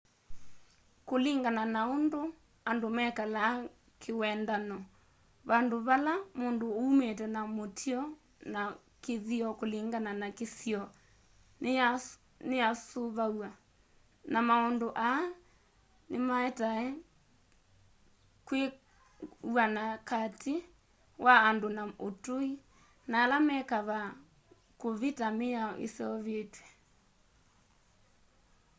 kũlĩngana na ũndũ andũ mekalaa kĩwendano vandũ vala mũndũ ũmĩte na mĩtũo na kĩthĩo kũlĩngana na kĩsĩo nĩyasũvaw'a na maũndũ aa nĩmaetae kwĩw'anakatĩ wa andũ ma ũtũĩ na ala me kavaa kũvita mĩao ĩseũvĩtwe